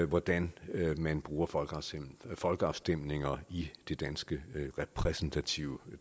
hvordan man bruger folkeafstemninger folkeafstemninger i det danske repræsentative